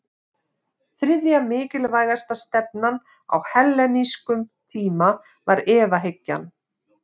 Þriðja mikilvægasta stefnan á hellenískum tíma var efahyggjan.